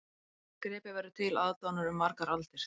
Þessi gripur verður til aðdáunar um margar aldir